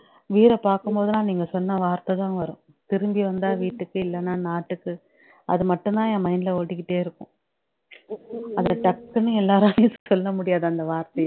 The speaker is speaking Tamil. வீர பாக்கும்போது எல்லாம் நீங்க சொன்ன வார்த்தைதான் வரும் திரும்பி வந்தா வீட்டுக்கு இல்லன்னா நாட்டுக்கு அதுமட்டும் தான் என் mind ல ஓடிக்கிட்டே இருக்கும் ச்சு அவளோ டக்குனு எல்லோராலயும் சொல்ல முடியாது அந்த வார்